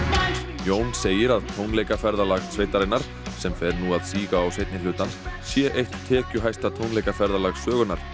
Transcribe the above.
Jón segir að tónleikaferðalag sveitarinnar sem fer nú að síga á seinni hlutann sé eitt tekjuhæsta tónleikaferðalag sögunnar